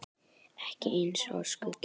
Ekki eins og skuggi.